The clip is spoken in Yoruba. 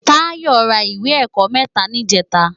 Tayo rá iwé èkò mètá nijètá